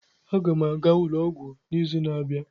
Aga m aga ụlọ ọgwụ n'izu na-abịa.